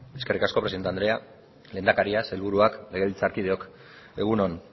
eskerrik asko presidente andrea lehendakaria sailburuak legebiltzarkideok egun on